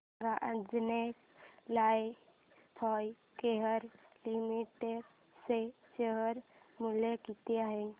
सांगा Anjaneya lifecare limited चे share मूल्य किती आहे